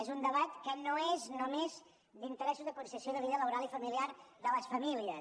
és un debat que no és només d’interessos de conciliació de vida laboral i familiar de les famílies